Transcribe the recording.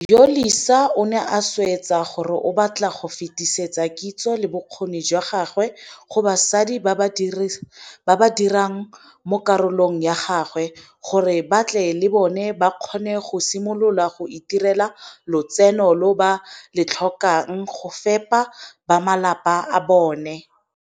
Yolisa o ne a swetsa gore o batla go fetisetsa kitso le bokgoni jwa gagwe go basadi ba ba sa direng mo kgaolong ya gagwe, gore ba tle le bone ba kgone go simolola go itirela lotseno lo ba le tlhokang go fepa bamalapa a bona.